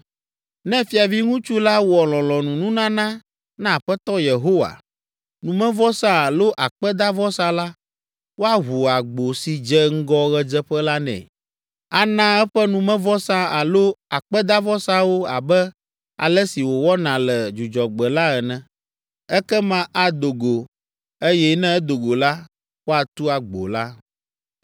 Ne fiaviŋutsu la wɔ lɔlɔ̃nununana na Aƒetɔ Yehowa, numevɔsa alo akpedavɔsa la, woaʋu agbo si dze ŋgɔ ɣedzeƒe la nɛ. Ana eƒe numevɔsa alo akpedavɔsawo abe ale si wòwɔna le Dzudzɔgbe la ene. Ekema ado go, eye ne edo go la, woatu agbo la.